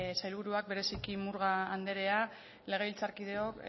sailburuak bereziki murga andrea legebiltzarkideok